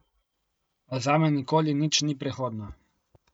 A zame nikoli nič ni prehodno.